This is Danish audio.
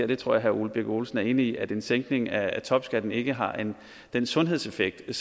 det tror jeg herre ole birk olesen er enig i at en sænkning af topskatten ikke har den sundhedsskabende